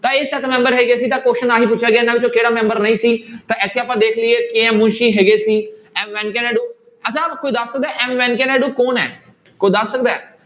ਤਾਂ ਇਹ ਸੱਤ ਮੈਂਬਰ ਹੈਗੇ ਸੀਗੇ ਤਾਂ question ਆਹੀ ਪੁੱਛਿਆ ਗਿਆ ਇਹਨਾਂ ਵਿੱਚੋਂ ਕਿਹੜਾ ਮੈਂਬਰ ਨਹੀਂ ਸੀ ਤਾਂ ਇੱਥੇ ਆਪਾਂ ਦੇਖ ਲਈਏ KM ਮੁਨਸੀ ਹੈਗੇ ਸੀ m ਵੈਂਕੇਹ ਨਾਇਡੂ ਅੱਛਾ ਕੋਈ ਦੱਸ ਸਕਦਾ ਹੈ m ਵੈਂਕੇਹ ਨਾਇਡੂ ਕੌਣ ਹੈ ਕੋਈ ਦੱਸ ਸਕਦਾ ਹੈ।